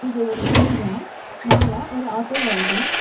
இது ஒரு ஏரியா மேல ஒரு ஆட்டோ வருது.